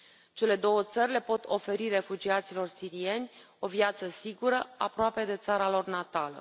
Cele două țări le pot oferi refugiaților sirieni o viață sigură, aproape de țara lor natală.